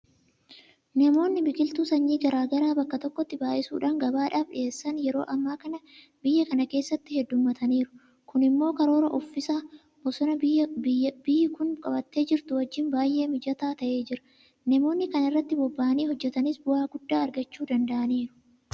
Namoonni biqiltuu sanyii garaa garaa bakka tokkotti baay'isuudhaan gabaadhaaf dhiyeessan yeroo ammaa kana biyya kana keessatti heddummataaniiru. Kun immoo karoora uffisa bosonaa biyyi kun qabattee jirtu wajjin baay'ee mijataa ta'ee jira. Namoonni kana irratti bobba'anii hojjetanis bu'aa guddaa argachuu danda'aniiru.